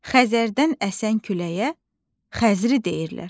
Xəzərdən əsən küləyə xəzri deyirlər.